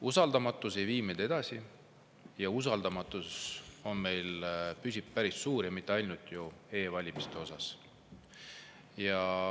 Usaldamatus ei vii meid edasi, aga usaldamatus püsib meil päris suur, ja mitte ainult e-valimiste osas.